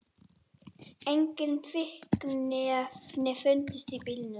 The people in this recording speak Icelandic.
Engin fíkniefni fundust í bílnum